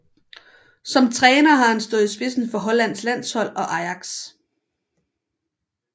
Som træner har han stået i spidsen for Hollands landshold og Ajax